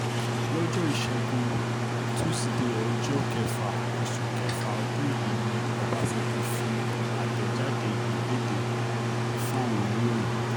lọ́jọ́ ìṣẹ́gun tusidee ọjọ́ um kẹfà oṣù kẹfà ọdún yìí ni ọbaṣẹ́kì fi àtẹ̀jáde yìí lédè um fáwọn oníròyìn